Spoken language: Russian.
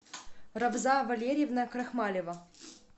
рабза валерьевна крахмалева